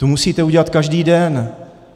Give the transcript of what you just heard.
Tu musíte udělat každý den.